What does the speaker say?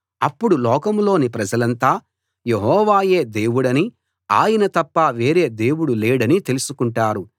అప్పుడు లోకం లోని ప్రజలంతా యెహోవాయే దేవుడనీ ఆయన తప్ప వేరే దేవుడు లేడనీ తెలుసుకుంటారు